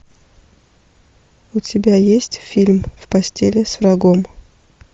у тебя есть фильм в постели с врагом